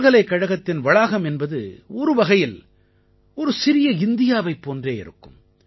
பல்கலைக்கழகத்தின் வளாகம் என்பது ஒரு வகையில் ஒரு சிறிய இந்தியாவைப் போன்றே இருக்கும்